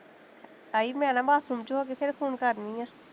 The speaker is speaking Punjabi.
ਤਾਈ ਮੈਂ ਨਾ ਮੱਝ ਨੂੰ ਚੋਕੇ ਫੇਰ phone ਕਰਨੀ ਆਂ